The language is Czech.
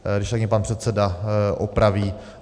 Když tak mě pan předseda opraví.